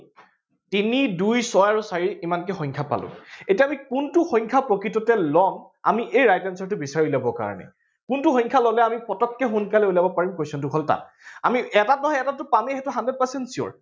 তিনি দুই ছয় আৰু চাৰি ইমানখিনি সংখ্যা পালো এতিয়া আমি কোনটো সংখ্যা প্ৰকৃততে লম, আমি এই right answer টো বিচাৰি উলিয়াব কাৰণে কোনটো সংখ্যা ললে আমি পতককে সোনকালে উলিয়াব পাৰিম question টো হল তাত আমি এটাত নহয় এটাত পামেই সেইটো hundred percent sure